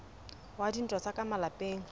wa dintwa tsa ka malapeng